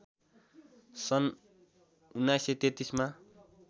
सन् १९३३ मा